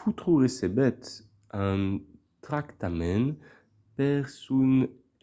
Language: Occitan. potro recebèt un tractament per son